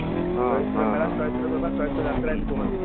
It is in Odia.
ଚୈତ୍ର ମେଳା ଚୈତ୍ର ଚୈତ୍ର ଯାତ୍ରା ଏମିତି କୁହନ୍ତି